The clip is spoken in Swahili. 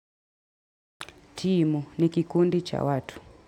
Timu, ni kikundi cha watu.